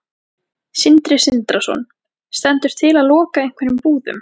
Sindri Sindrason: Stendur til að loka einhverjum búðum?